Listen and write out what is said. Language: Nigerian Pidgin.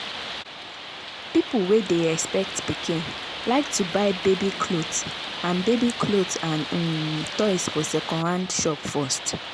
people wey dey expect pikin like to buy baby cloth and baby cloth and um toys for second-hand shop first.